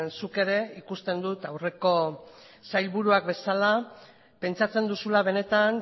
zuk ere ikusten dut aurreko sailburuak bezala pentsatzen duzula benetan